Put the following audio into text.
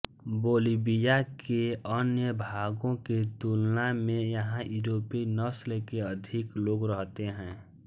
Bolivia के अन्य भागों की तुलना में यहाँ यूरोपी नस्ल के अधिक लोग रहते हैं